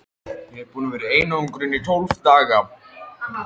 Ég er búinn að vera í einangrun í tólf daga.